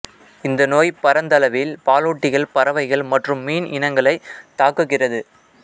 இந்த நோய் பரந்தளவில் பாலூட்டிகள் பறவைகள் மற்றும் மீன் இனங்களைத் தாக்குகிறது